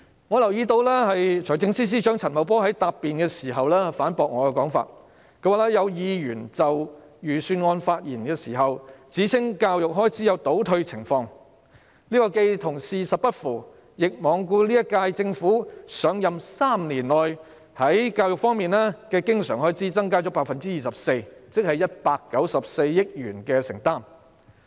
我留意到財政司司長陳茂波在答辯時反駁我的說法，他說："有議員在上星期就預算案發言時指稱教育開支有'倒退'情況，這既與事實不符，亦罔顧這屆政府上任3年內，在教育方面的經常開支增加了 24%， 即194億元的承擔。